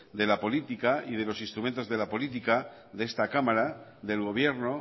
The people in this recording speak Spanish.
de la política y de los instrumentos de la política de esta cámara del gobierno